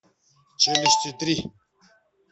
челюсти три